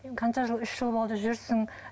қанша жыл үш жыл болды жүрсің